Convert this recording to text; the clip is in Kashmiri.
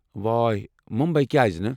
وٲے، مٗمبیی کیٛازِ نہٕ؟